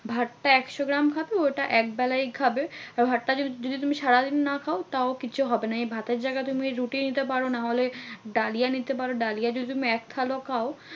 ভাতটা একশো গ্রাম খাবে ওটা একবেলাই খাবে। আর ভাতটা যদি তুমি সারাদিন না খাও তাও কিছু হবে না। এই ভাতের জায়গায় যদি তুমি রুটি নিতে পারো নাহলে ডালিয়া নিতে পারো। ডালিয়া যদি তুমি এক থালাও খাও